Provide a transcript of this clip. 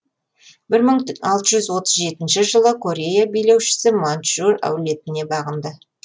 бір мың алты жүз отыз жетінші жылы корея билеушісі маньчжур әулетіне бағынды